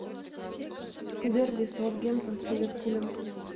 дерби саутгемптон с ливерпулем